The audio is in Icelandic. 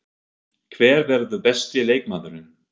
Hver verður besti leikmaðurinn?